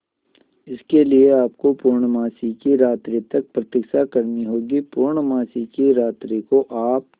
इसके लिए आपको पूर्णमासी की रात्रि तक प्रतीक्षा करनी होगी पूर्णमासी की रात्रि को आप